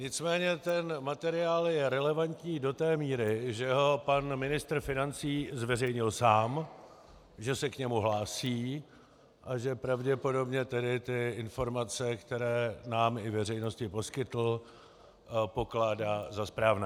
Nicméně ten materiál je relevantní do té míry, že ho pan ministr financí zveřejnil sám, že se k němu hlásí a že pravděpodobně tedy ty informace, které nám i veřejnosti poskytl, pokládá za správné.